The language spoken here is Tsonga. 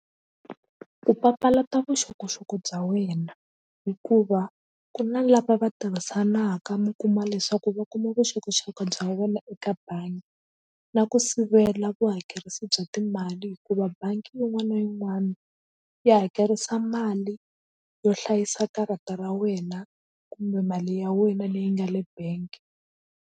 Ku papalata vuxokoxoko bya wena hikuva ku na lava va tirhisanaka mi kuma leswaku va kuma vuxokoxoko bya wena eka bangi na ku sivela vuhakerisi bya timali hikuva bangi yin'wana na yin'wani ya hakerisa mali yo hlayisa karata ra wena kumbe mali ya wena leyi nga le bank.